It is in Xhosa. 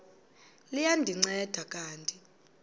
liya ndinceda kanti